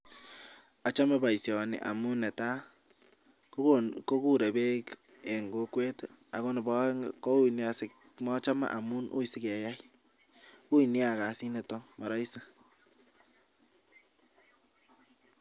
Achame boisioni amu netai kiguren peek en kokwet. Neba aeng'u kowui nia keyai. Ui kasit nita.